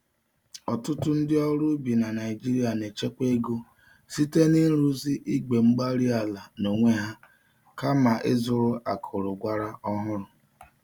Ọtụtụ ndị ọrụ ubi na Nigeria na-echekwa ego site n'ịrụzi igwe-mgbárí-ala n'onwe ha kama ịzụrụ akụrụ- gwàrà ọhụrụ.